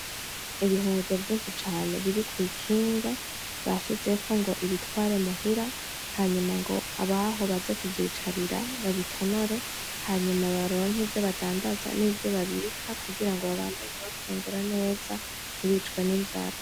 Ibiharage vyinshi cane biri kw'ikinga, bashizeko ng'ibitware muhira hanyuma ng'abaho baze kuvyicarira babitonore hanyuma baronke ivyo bandandaza n'ivyo babika kugira ngo babandanye bafungura neza ntibicwe n'inzara.